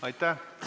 Aitäh!